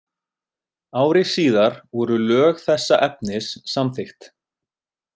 Ári síðar voru lög þessa efnis samþykkt.